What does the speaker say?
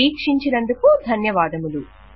వీక్షించినందుకు ధన్యవాదములు